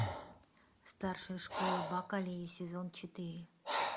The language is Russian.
старшая школа бакалея сезон четыре